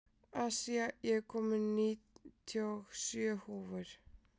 Asía, ég kom með níutíu og sjö húfur!